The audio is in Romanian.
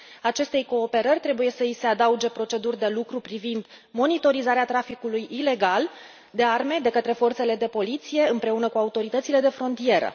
Acestei cooperări trebuie să i se adauge proceduri de lucru privind monitorizarea traficului ilegal de arme de către forțele de poliție, împreună cu autoritățile de frontieră.